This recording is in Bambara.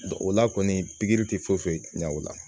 o la kɔni tɛ foyi foyi ɲɛ o la